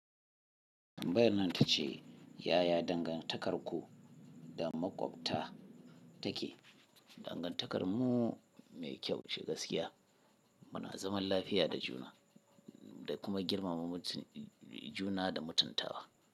Tambayar nan ta ce “Yaya dangantakarku da maƙwabta take? Dangantakarmu mai kyau ce gaskiya. Muna zaman lafiya da juna da kuma girmama mutum juna da mutuntawa.”